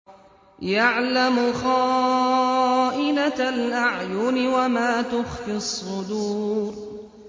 يَعْلَمُ خَائِنَةَ الْأَعْيُنِ وَمَا تُخْفِي الصُّدُورُ